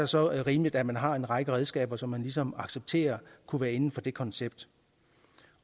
så rimeligt at man har en række redskaber som man ligesom accepterer kunne være inden for det koncept